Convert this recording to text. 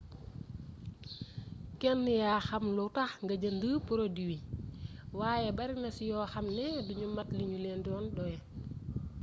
kenn yaa xam lu tax nga jënd produit waaye barina ci yoo xamni duñu mat liñu leen di doyee